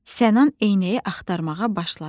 Sənan eynəyi axtarmağa başladı.